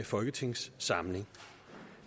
folketingssamling